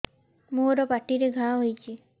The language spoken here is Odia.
ମୋର ପାଟିରେ ଘା ହେଇଚି